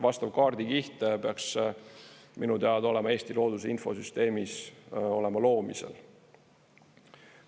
Vastav kaardikiht peaks minu teada olema Eesti looduse infosüsteemis loomisel.